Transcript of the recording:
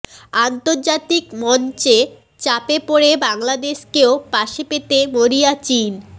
আন্তর্জাতিক মঞ্চে চাপে পড়ে বাংলাদেশকেও পাশে পেতে মরিয়া চিন